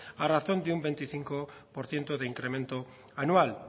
a razón de un veinticinco por ciento de incremento anual